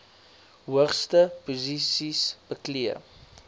hoogste posisies beklee